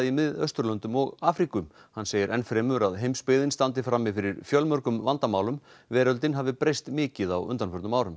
Miðausturlöndum og Afríku hann segir enn fremur að heimsbyggðin standi frammi fyrir fjölmörgum vandamálum veröldin hafi breyst mikið á undanförnum árum